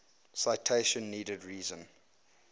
citation needed reason